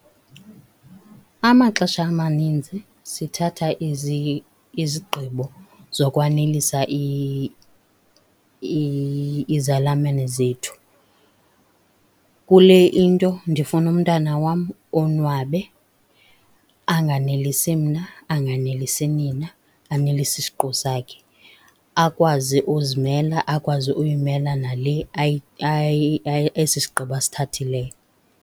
Amaxesha amaninzi sithatha izigqibo zokwanelisa izalamene zethu. Kule into ndifuna umntana wam onwabe anganelisi mna, anganelisi nina, anelise isiqu sakhe. Akwazi uzimela, akwazi uyimela nale esi sigqibo asithathileyo.